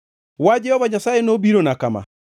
Wach Jehova Nyasaye nobirona kama: